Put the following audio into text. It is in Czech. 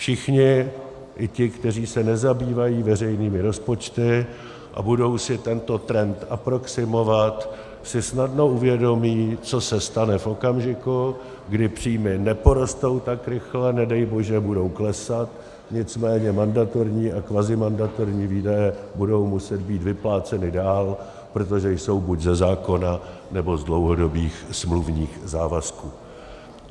Všichni, i ti, kteří se nezabývají veřejnými rozpočty a budou si tento trend aproximovat, si snadno uvědomí, co se stane v okamžiku, kdy příjmy neporostou tak rychle, nedej bože budou klesat, nicméně mandatorní a kvazimandatorní výdaje budou muset být vypláceny dál, protože jsou buď ze zákona, nebo z dlouhodobých smluvních závazků.